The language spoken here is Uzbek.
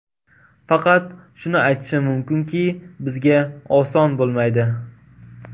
Faqat shuni aytishim mumkinki, bizga oson bo‘lmaydi.